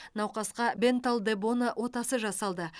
науқасқа бенталл де боно отасы жасалды